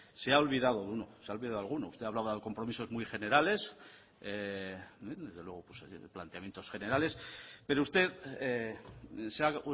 se ha olvidado de alguno usted hablaba de compromisos muy generales y desde luego pues planteamientos generales pero usted se ha